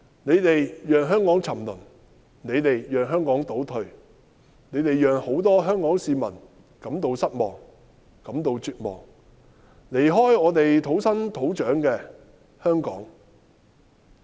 你們讓香港沉淪，你們讓香港倒退，你們讓眾多香港市民感到失望，感到絕望，要離開他們土生土長的香港。